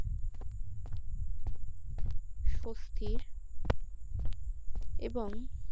স্বস্তির এবং